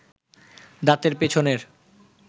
দাঁতের পেছনের